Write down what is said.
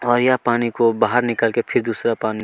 और यह पानी को निकाल के फिर दूसरा पानी --